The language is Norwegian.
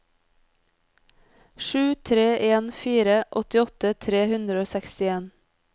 sju tre en fire åttiåtte tre hundre og sekstien